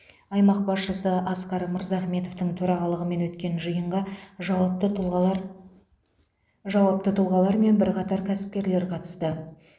аймақ басшысы асқар мырзахметовтың төрағалығымен өткен жиынға жауапты тұлғалар жауапты тұлғалар мен бірқатар кәсіпкерлер қатысты